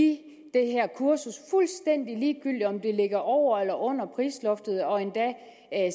det her kursus fuldstændig ligegyldigt om det ligger over eller under prisloftet og endda